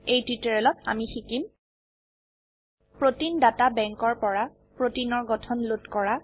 এই টিউটোৰিয়েলত আমি শিকিম প্ৰতেইন ডাটা Bankৰ পৰা প্ৰোটিনৰ গঠন লোড কৰা